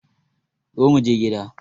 Zo muje gida